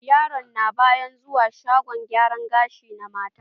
Yaro na ba ya zuwa shagon gyara gashi na mata.